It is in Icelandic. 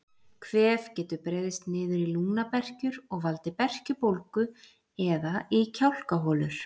Kvef getur breiðst niður í lungnaberkjur og valdið berkjubólgu eða í kjálkaholur.